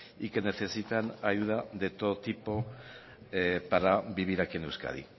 y que necesitan ayuda de todo tipo para vivir aquí en euskadi